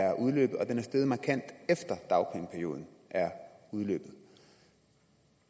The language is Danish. er udløbet og at den er steget markant efter at dagpengeperioden er udløbet